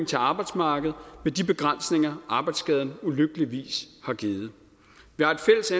til arbejdsmarkedet med de begrænsninger arbejdsskaden ulykkeligvis har givet